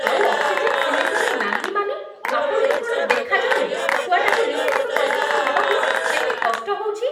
ଆଉ oxygen cylinder ନାହିଁ, ମାନେ? ଆପଣଙ୍କୁ କ'ଣ ଦେଖାଯାଉନି ଛୁଆଟାକୁ ନିଃଶ୍ୱାସ ପ୍ରଶ୍ୱାସ ନବାକୁ କେତେ କଷ୍ଟ ହେଉଛି?